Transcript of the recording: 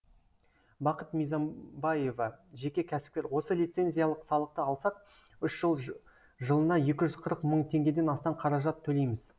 бақыт мизам баева жеке кәсіпкер осы лицензиялық салықты алсақ үш жыл жылына екі жүз қырық мың теңгеден астам қаражат төлейміз